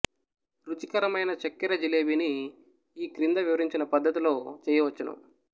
రుచికరమైన చక్కెర జిలేబిని ఈ క్రింద వివరించిన పద్ధతిలో చెయ్యవచ్చును